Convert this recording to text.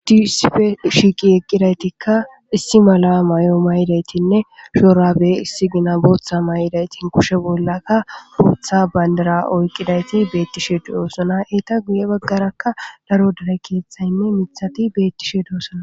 Hidi sife shiiqi eqqidaytikka issi mala may'o may'idaytinne shoorabe issi gina booththa may'idaytin kushe bollaka bootha bandara oyqqidayti beettishe duyoosona eta guye baggarakka laro dare keeththaynne mithati beettishe doosona